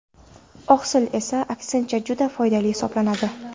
Oqsil esa, aksincha juda foydali hisoblanadi.